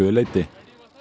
leyti